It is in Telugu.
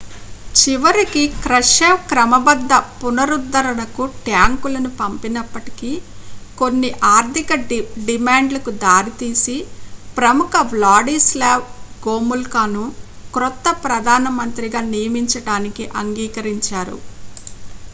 చివరికి క్రష్చెవ్ క్రమబద్ద పునరుద్ధరణకు ట్యాంకులను పంపినప్పటికీ కొన్ని ఆర్థిక డిమాండ్లకు దారి తీసి ప్రముఖ వ్లాడీస్లావ్ గోముల్కాను కొత్త ప్రధానమంత్రిగా నియమించడానికి అంగీకరించారు